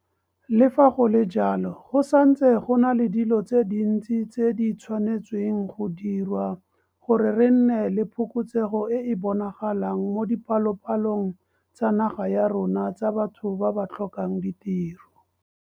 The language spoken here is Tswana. Le fa go le jalo, go santse go na le dilo tse dintsi tse di tshwanetsweng go diriwa gore re nne le phokotsego e e bonagalang mo dipalopalong tsa naga ya rona tsa batho ba ba tlhokang ditiro.